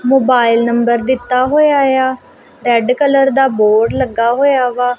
Mobile number ਦਿੱਤਾ ਹੋਇਆ ਆ ਰੈਡ ਕਲਰ ਦਾ ਬੋਰਡ ਲੱਗਾ ਹੋਇਆ ਵਾ।